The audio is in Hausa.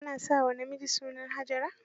Ana sa wa namiji sunan Hajara?